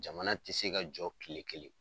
Jamana te se ka jɔ kile kelen.